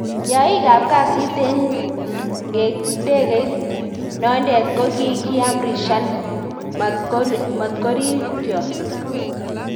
Yaik ab kasit en ngegeit nonden ko kikiamrishan mat korikyon